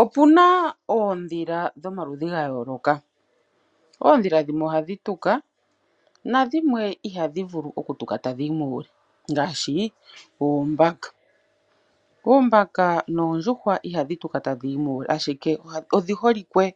Opu na oondhila dhomaludhi ga yooloka. Oondhila dhimwe ohadhi tuka, nadhimwe ihadhi vulu okutuka tadhi yi muule ngaashi ooombaka. Oombaka noondjuhwa ihadhi tuka tadhi yi muule, ashike odhi holike